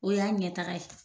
O y'a ɲɛtaga ye.